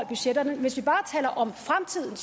budgetterne hvis vi bare taler om fremtiden